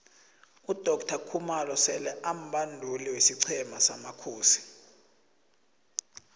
udoctor khumalo sele ambanduli wesiqhema samakhosi